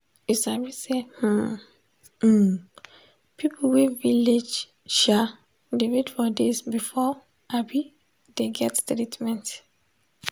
you sabi say hmm um people wey village um dey wait for days before um dey get treatment.